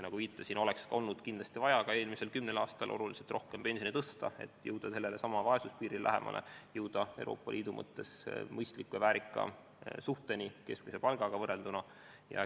Nagu ma viitasin, oleks kindlasti olnud ka eelmisel kümnel aastal vaja oluliselt rohkem pensione tõsta, et jõuda sellelesamale vaesuspiirile lähemale, et jõuda Euroopa Liidu mõttes mõistliku ja väärika suhteni keskmise palgaga.